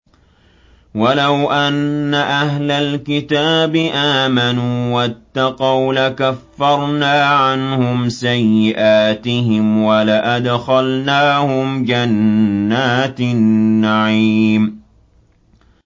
وَلَوْ أَنَّ أَهْلَ الْكِتَابِ آمَنُوا وَاتَّقَوْا لَكَفَّرْنَا عَنْهُمْ سَيِّئَاتِهِمْ وَلَأَدْخَلْنَاهُمْ جَنَّاتِ النَّعِيمِ